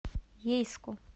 ейску